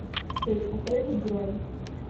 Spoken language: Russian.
сеть отелей бронь